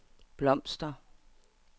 blomster